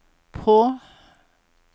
på